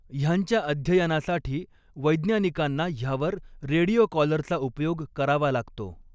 ह्यांच्या अध्ययनासाठी वैज्ञानिकांना ह्यावर रेडियो कॉलरचा उपयोग करावा लागतो.